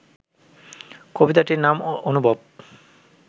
কবিতাটির নাম অনুভব